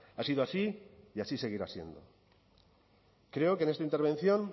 ha sido así y así seguirá siendo creo que en esta intervención